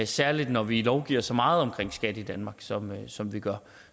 særlig når vi lovgiver så meget om skat i danmark som som vi gør